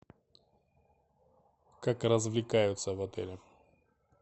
как развлекаются в отеле